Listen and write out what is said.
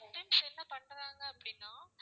sometimes என்ன பண்றாங்க அப்படின்னா